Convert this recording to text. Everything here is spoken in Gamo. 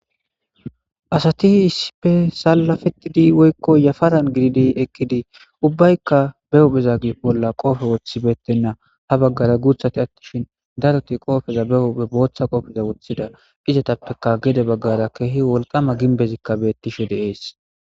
asati isipe sallafettidi woykko yafaran gididi ekkidii ubbaykka be hupheza g bolla qoofe woththibeettenna ha baggara guuthati attishin daroti qoofeza be huphe booththa qofeza wothida izatappeka gede baggara keehi wolqama ginbezikka bettishe deees